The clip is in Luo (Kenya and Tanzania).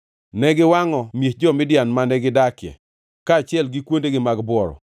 Ne giwangʼo miech jo-Midian mane gidakie, kaachiel gi kuondegi mag bworo.